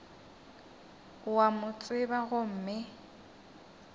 o a mo tseba gomme